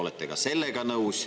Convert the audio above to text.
Olete ka sellega nõus.